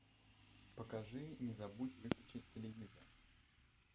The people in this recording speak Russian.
покажи не забудь выключить телевизор